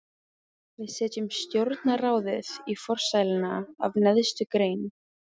Við setjum stjórnarráðið í forsæluna af neðstu grein.